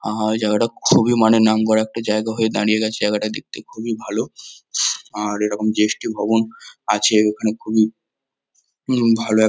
আহ জায়গাটা খুবই মানে নামকরা একটা জায়গা হয়ে দাঁড়িয়ে গেছে জায়গাটা দেখতে খুবই ভালো। আর এরকম জি.এস.টি. ভবন আছে এখানে খুবই ভালো এক --